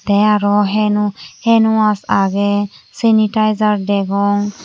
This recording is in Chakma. tey arow henow henwaas agey sanitizer degong.